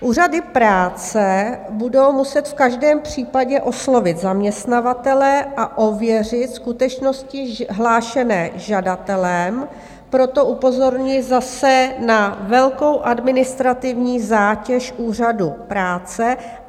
Úřady práce budou muset v každém případě oslovit zaměstnavatele a ověřit skutečnosti hlášené žadatelem, proto upozorňuji zase na velkou administrativní zátěž úřadu práce.